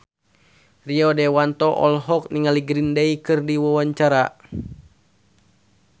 Rio Dewanto olohok ningali Green Day keur diwawancara